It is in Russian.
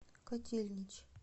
котельнич